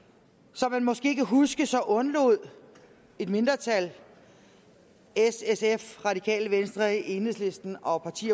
som man måske kan huske undlod et mindretal s sf radikale venstre enhedslisten og